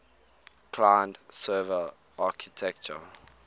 client server architecture